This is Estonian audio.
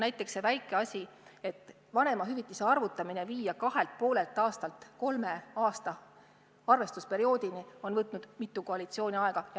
Näiteks see väike asi, et vanemahüvitise arvutamine viia kahelt ja poolelt aastalt kolme aasta arvestusperioodini, on võtnud mitu koalitsiooni aega.